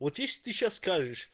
вот видишь ты сейчас